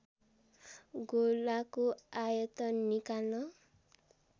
गोलाको आयतन निकाल्न